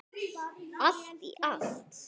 Allt í allt.